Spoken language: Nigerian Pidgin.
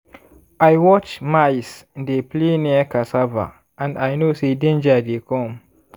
i watch mice dey play near cassava and i know say danger dey come.